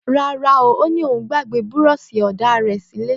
Ràrá, òní òún gbàgbẹ búrọṣi òdá rẹ ṣilẹ